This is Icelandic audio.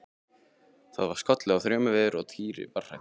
Það var skollið á þrumuveður og Týri var hræddur.